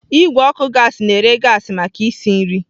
Igwe ọkụ gaasị na-ere gaasị maka isi nri.